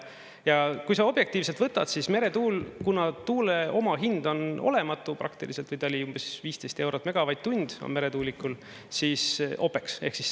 Ja kui see objektiivselt võtad, siis meretuul, kuna tuule omahind on olematu praktiliselt või ta oli umbes 15 eurot megavatt-tund, on meretuulikul, OPEX.